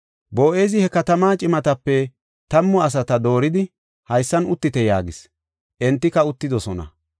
Boo7ezi he katama cimatape tammu asata dooridi, “Haysan uttite” yaagis. Entika uttidosona.